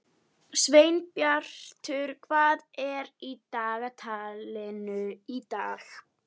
Sveinbjartur, hvað er í dagatalinu í dag?